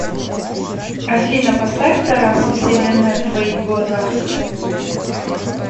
афина поставь тарас вселенная в твоих глазах